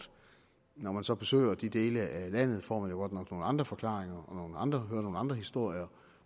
når man så besøger de dele af landet får nok nogle andre forklaringer hører nogle andre historier